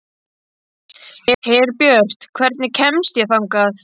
Herbjört, hvernig kemst ég þangað?